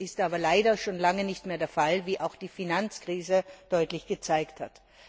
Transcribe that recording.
Dies ist aber leider schon lange nicht mehr der Fall, wie auch die Finanzkrise deutlich gezeigt hat.